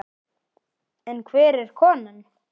En hver er konan?